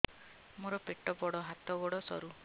ମୋର ପେଟ ବଡ ହାତ ଗୋଡ ସରୁ